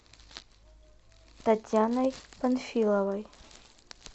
татьяной панфиловой